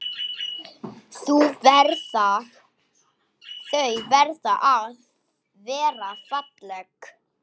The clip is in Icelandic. Þau verða að vera falleg.